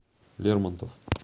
лермонтов